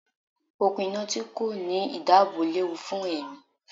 Okùn iná tí kò ní ìdáàbò léwu fún ẹ̀mí.